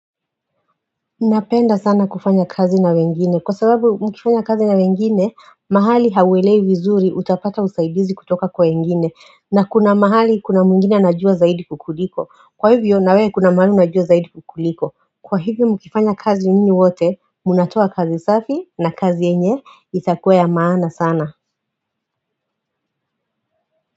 Napenda sana kufanya kazi na wengine kwa sababu mkifanya kazi na wengine mahali hauelewi vizuri utapata usaidizi kutoka kwa wengine na kuna mahali kuna mwingine anajua zaidi kukuliko kwa hivyo nawewe kuna mahali unajua zaidi kukuliko kwa hivyo mkifanya kazi nyinyi wote munatoa kazi safi na kazi yenye itakuwa ya maana sana.